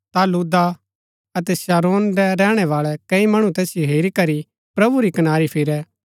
ता लुद्दा अतै शारोन रै रैहणै बाळै कई मणु तैसिओ हेरी करी प्रभु री कनारी फिरै